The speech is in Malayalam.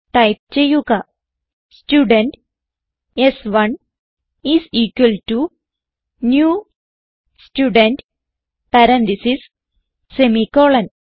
ടൈപ്പ് ചെയ്യുക സ്റ്റുഡെന്റ് സ്1 is equal to new student parentheses semicolon